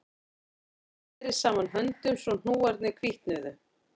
Konan neri saman höndunum svo hnúarnir hvítnuðu